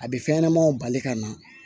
A bɛ fɛn ɲɛnɛmanw bali ka na